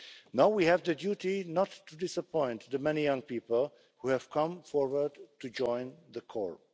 Now we have the duty not to disappoint the many young people who have come forward to join the Corps.